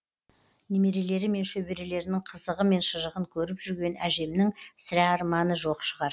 немерелері мен шөберелерінің қызығы мен шыжығын көріп жүрген әжемнің сірә арманы жоқ шығар